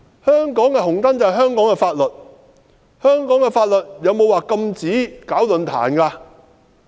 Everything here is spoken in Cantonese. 香港的"紅燈"就是香港的法律，香港的法律有否禁止舉辦論壇？